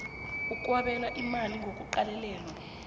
okwabelwa imali kungaqalelelwa